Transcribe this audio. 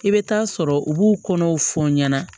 I bɛ taa sɔrɔ u b'u kɔnɔw fɔ n ɲɛna